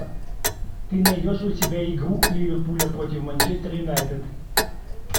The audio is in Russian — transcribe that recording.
ты найдешь у себя игру ливерпуля против манчестер юнайтед